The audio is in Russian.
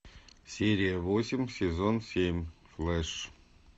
серия восемь сезон семь флэш